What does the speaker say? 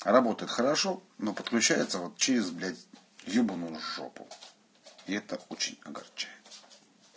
работает хорошо но подключается через блять ёбаную жопу это очень огорчает